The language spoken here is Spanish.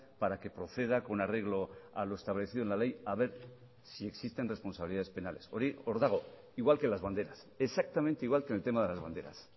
para que proceda con arreglo a lo establecido en la ley a ver si existen responsabilidades penales hori hor dagoigual que las banderas exactamente igual que en el tema de las banderas